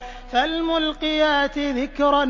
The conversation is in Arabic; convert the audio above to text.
فَالْمُلْقِيَاتِ ذِكْرًا